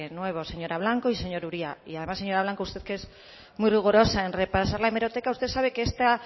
nuevo señora blanco y señor uria además señora blanco usted que es muy rigurosa en repasar la hemeroteca usted sabe que esta